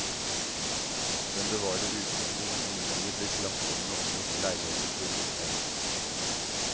Den bevares utvendig, men innvendig blir klasserommene omgjort til leiligheter for utleie.